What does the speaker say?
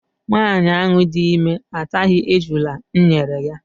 Nwaanyị ahụ dị ime ataghị ejula m nyere ya.